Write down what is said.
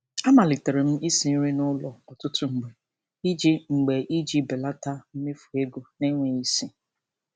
A malitere m isi nri n'ụlọ ọtụtụ mgbe iji mgbe iji belata mmefu ego n'enweghị isi.